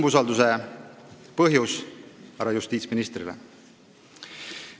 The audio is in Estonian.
Mis on põhjus, miks me härra justiitsministrile umbusaldust avaldame?